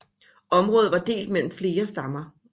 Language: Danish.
Området var delt mellem flere stammer